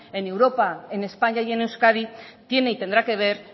en europa en españa y en euskadi tiene y tendrá que ver